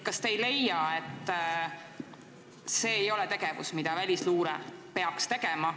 Kas te ei leia, et see on tegevus, mida välisluure ei peaks tegema?